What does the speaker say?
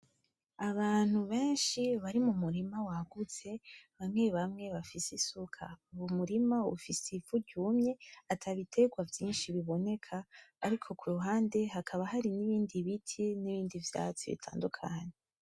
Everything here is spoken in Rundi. Abantu benshi bari mumurima wagutse, bamwe bamwe bafise isuka , uwo murima ufise ivu ryumye atabitegwa vyinshi biboneka ariko kuruhande hakaba hari n'ibindi biti n'ibindi vyatsi bitandukanye.